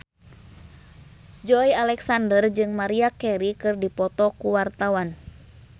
Joey Alexander jeung Maria Carey keur dipoto ku wartawan